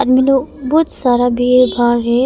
बहुत सारा भीड़ भाड़ है।